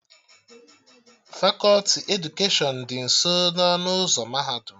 Fakọti edukeshọn dị nso ọnụ ụzọ mahadum